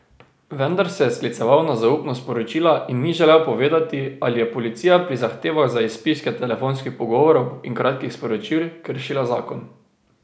Vendar se je skliceval na zaupnost poročila in ni želel povedati, ali je policija pri zahtevah za izpiske telefonskih pogovorov in kratkih sporočil kršila zakon.